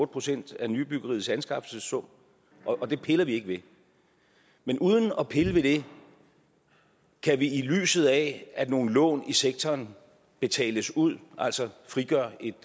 procent af nybyggeriets anskaffelsessum og det piller vi ikke ved men uden at pille ved det kan vi i lyset af at nogle lån i sektoren betales ud altså frigøre et